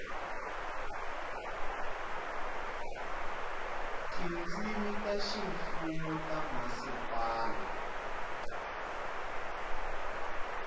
tindzimi ta ximfumo ta mhasipala